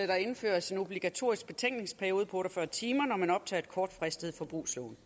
der indføres en obligatorisk betænkningsperiode på otte og fyrre timer når man optager et kortfristet forbrugslån